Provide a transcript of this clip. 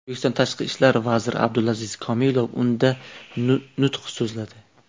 O‘zbekiston tashqi ishlar vaziri Abdulaziz Komilov unda nutq so‘zladi.